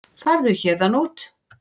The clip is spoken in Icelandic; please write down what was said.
Farðu héðan út.